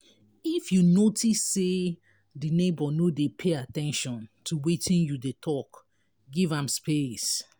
if you notice sey di neighbour no dey pay at ten tion to wetin you dey talk give am space